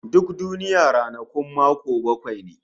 Duk duniya ranakun mako bakwai ne